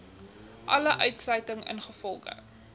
alle uitsluiting ingevolge